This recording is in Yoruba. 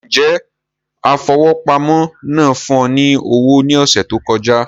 Njẹ afowópamọ́ náà fún ọ ní owó ní ọsẹ tó kọjá